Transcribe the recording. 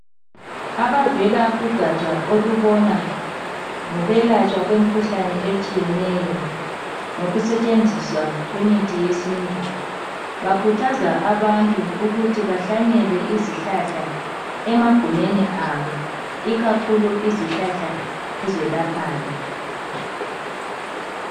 Abavela kugatsha olubona ngokwelatshwa kwemikhuhlane etshiyeneyo ngokusetshenziswa kwemithi yesiNtu bakhuthaza abantu ukuthi bahlanyele izihlahla emagumeni abo ikakhulu izihlahla ezelaphayo.